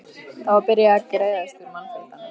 Það var byrjað var að greiðast úr mannfjöldanum.